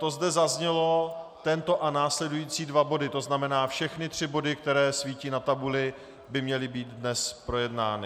To zde zaznělo, tento a následující dva body, to znamená všechny tři body, které svítí na tabuli, by měly být dnes projednány.